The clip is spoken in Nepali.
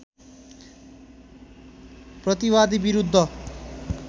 प्रतिवादी विरुद्ध